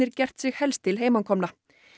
gert sig helst til heimakomna